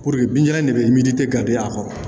Puruke bin ɲaga de bɛ milite garibuya kɔrɔ